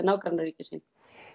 nágrannaríki sín